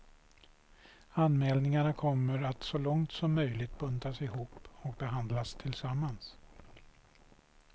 Anmälningarna kommer att så långt som möjligt buntas ihop och behandlas tillsammans.